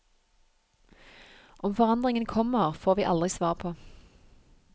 Om forandringen kommer, får vi aldri svar på.